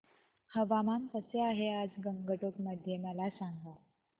हवामान कसे आहे आज गंगटोक मध्ये मला सांगा